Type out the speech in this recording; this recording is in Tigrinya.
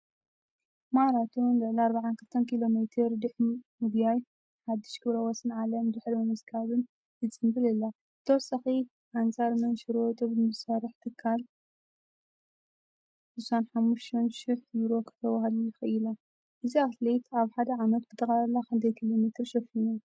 ማራቶን (ልዕሊ 42 ኪሎ ሜተር) ድሕሪ ምጉያይን ሓድሽ ክብረወሰን ዓለም ድሕሪ ምምዝጋብን ትጽንብል ኣላ። ብተወሳኺ ኣንጻር መንሽሮ ጡብ ንዝሰርሕ ትካል 65 ሽሕ ዩሮ ከተዋህልል ክኢላ። እዚ ኣትሌት ኣብ ሓደ ዓመት ብጠቕላላ ክንደይ ኪሎሜተር ሸፊኑ?